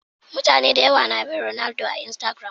Mutane da yawa na bin Ronaldo a Instagiram